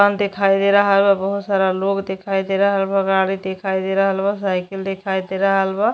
दुकान दिखाई दे रहल बा बहुत सारा लोग दिखाई दे रहल बा गाड़ी दिखाई दे रहल बा साइकिल दिखाई दे रहल बा।